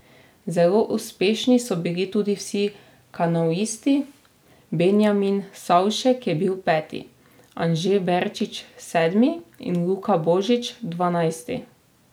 Zelo uspešni so bili tudi vsi kanuisti, Benjamin Savšek je bil peti, Anže Berčič sedmi in Luka Božič dvanajsti.